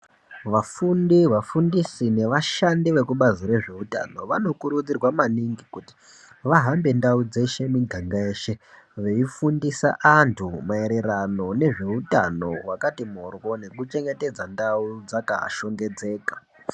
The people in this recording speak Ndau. Vafundi, vafundisi nevashandi vekubazi rezveutano vanokurudzirwa maningi kuti vahambe ndau dzeshe miganga yeshe veifundisa antu maererano nezveutano hwakati mphoryo nekuchengetedza ndau dzakashongedzeka.